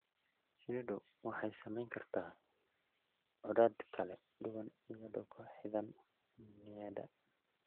Shinnidu waxay samayn kartaa codad kala duwan iyadoo ku xidhan niyadda.